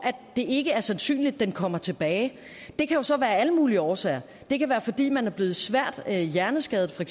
det ikke er sandsynligt den kommer tilbage det kan jo så være af alle mulige årsager det kan være fordi man er blevet svært hjerneskadet for